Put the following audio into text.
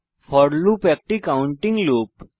four loop একটি counting loop